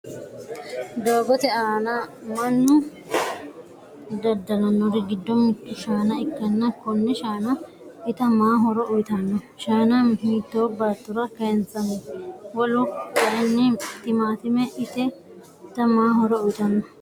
Doogote aana mannu dada'lannor giddo mittu shaana ikkanna konne shaana ita ma horo uyitanno? Shaana hiitto baattora kayinsanni? Wolu kayin timatime ita ma horo uyitanno?